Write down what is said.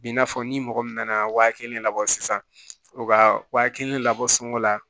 Bi n'a fɔ ni mɔgɔ min nana waa kelen labɔ sisan o ka wa kelen labɔ sunɔgɔ la